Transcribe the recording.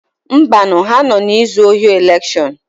Mbanu, ha nọ na-ezu ohi elekshọn.